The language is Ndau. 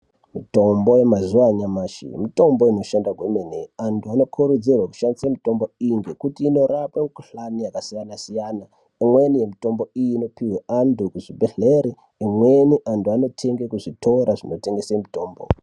Mitombo yemazuva anyamashi mitombo inoshanda kwemene .Antu anokurudzirwa kushandisa mitombo iyii ngekuti inorape mikhuhlani yakasiyana siyana , imweni yemutombo iyi inopihwe antu ekuchibhedhlere imweni antu anotenge kuzvitora zvinotengesa mitombo.